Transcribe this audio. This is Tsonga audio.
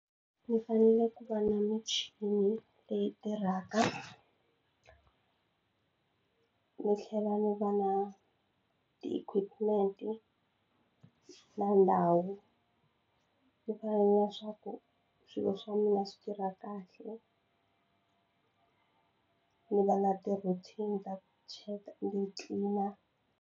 Ni fanele ku va na michini leyi tirhaka ni tlhela ni va na ti-equipment na ndhawu yo fana na swa ku swilo swa mina swi tirha kahle ni va na ti-routine ta ku cheka ni tlilina.